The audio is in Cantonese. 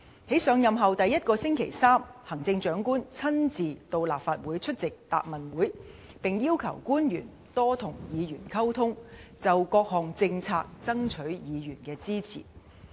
在上任後第一個星期三，行政長官親身到立法會出席答問會，並要求官員多與議員溝通，就各項政策爭取議員的支持。